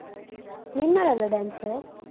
ನೀನ್ ಮಾಡಲ್ವಾ dance?